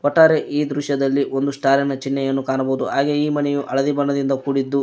ಒಟ್ಟಾರೆ ಈ ದೃಶ್ಯದಲ್ಲಿ ಒಂದು ಸ್ಟಾರಿನ ಚಿಹ್ನೆಯನ್ನು ಕಾಣಬಹುದು ಹಾಗೆಯೇ ಈ ಮನೆಯ ಹಳದಿ ಬಣ್ಣದಿಂದ ಕೂಡಿದ್ದು--